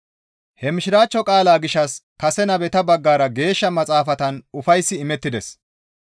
He mishiraachcho qaalaa gishshas kase nabeta baggara Geeshsha Maxaafatan ufayssi imettides.